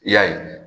I y'a ye